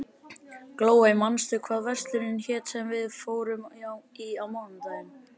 Glóey, manstu hvað verslunin hét sem við fórum í á mánudaginn?